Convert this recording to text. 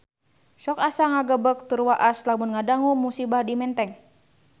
Sok asa ngagebeg tur waas lamun ngadangu musibah di Menteng